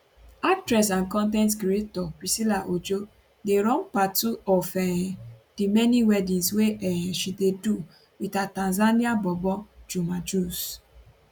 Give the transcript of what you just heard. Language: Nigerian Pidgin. actress and con ten t creator priscilla ojo dey run part two um of di many weddings wey um she dey do wit her tanzanian bobo juma jux